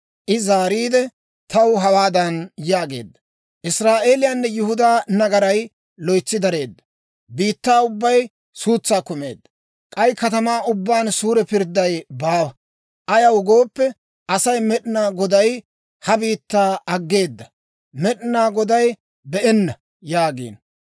I zaariide, taw hawaadan yaageedda; «Israa'eeliyaanne Yihudaa nagaray loytsi dareedda; biittaa ubbay suutsan kumeedda; k'ay katamaa ubbaan suure pirdday baawa. Ayaw gooppe, ‹Asay, Med'inaa Goday ha biittaa aggeeda; Med'inaa Goday be'enna› yaagiino.